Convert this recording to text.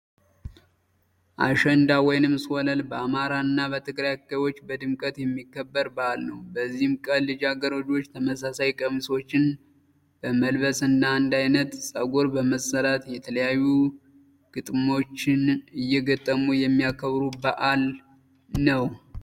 አሸንዳ ወይንም ሶለል በአማራ እና በትግራይ አካባቢዎች በድምቀት የሚከበር በዓል ነው። በዚህም ቀን ልጃገረዶች ተመሳሳይ ቀሚሶችን በመልበስ እና አንድ አይነት ፀጉር በመሰራት የተለያዩ ግጥሞችን እየገጠሙ የሚያከብሩት በዓል ነው።